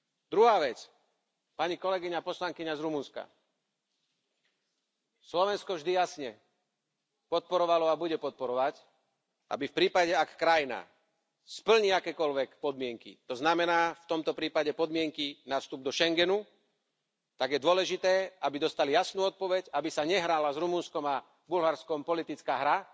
Druhá vec, pani kolegyňa poslankyňa z Rumunska Slovensko vždy jasne podporovalo a bude podporovať, aby v prípade, ak krajina splní akékoľvek podmienky, to znamená v tomto prípade podmienky na vstup do Schengenu, tak je dôležité, aby dostala jasnú odpoveď, aby sa nehrala Rumunskom a Bulharskom politická hra,